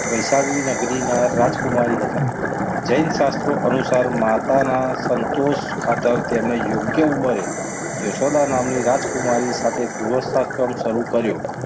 વૈશાલી નગરી ના રાજકુમારી હતા. જૈન શાસ્ત્રો અનુસાર માતાના સંતોષ ખાતર તેમની યોગ્ય ઉંમરે યશોદા નામની રાજકુમારી સાથે શરૂ કર્યું.